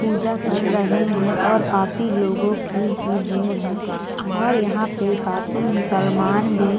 पूजा कर रहे है और काफी लोगों की भी भीड़ है और यहाँ पे काफी मुसलमान भी